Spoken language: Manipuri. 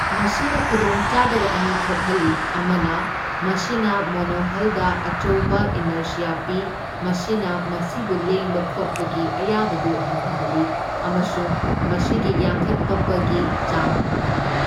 ꯃꯁꯤꯅ ꯈꯨꯗꯣꯡꯆꯥꯗꯕ ꯑꯅꯤ ꯊꯣꯛꯍꯜꯂꯤ ꯑꯃꯅ, ꯃꯁꯤꯅꯥ ꯃꯣꯅꯣꯍꯜꯗ ꯑꯆꯧꯕ ꯏꯅꯔꯁꯤꯌꯥ ꯄꯤ, ꯃꯁꯤꯅ ꯃꯁꯤꯕꯨ ꯂꯦꯡꯕ ꯈꯣꯠꯄꯒꯤ ꯑꯌꯥꯕꯗꯨ ꯍꯟꯊꯍꯜꯂꯤ ꯑꯃꯁꯨꯡ ꯃꯁꯤꯒꯤ ꯌꯥꯡꯈꯠꯄꯒꯤ ꯆꯥꯡ ꯍꯟꯊꯍꯜꯂꯤ꯫